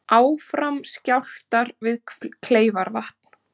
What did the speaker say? Áfram skjálftar við Kleifarvatn